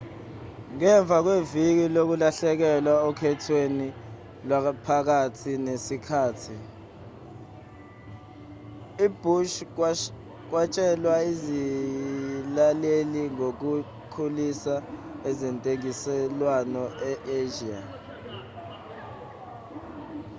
ngemva kweviki lokulahlekelwa okhethweni lwaphakathi nesikhathi ubhush watshela izilaleli ngokukhulisa ezentengiselwano e-asia